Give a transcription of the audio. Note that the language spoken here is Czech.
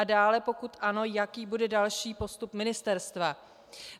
A dále, pokud ano, jaký bude další postup ministerstva.